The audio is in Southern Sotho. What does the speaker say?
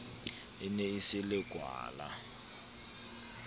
e ne e se lekwala